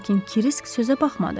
Lakin Kirisk sözə baxmadı.